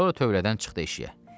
Qızı tövlədən çıxdı eşiyə.